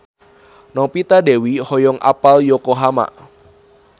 Novita Dewi hoyong apal Yokohama